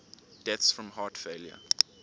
deaths from heart failure